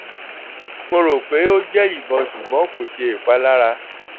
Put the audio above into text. mo ro pe o jẹ ibọn ṣugbọn ko ṣe ipalara